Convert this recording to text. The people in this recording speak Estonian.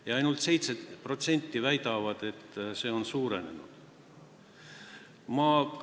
Ja ainult 7% väidab, et see on suurenenud.